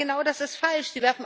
Aber genau das ist falsch.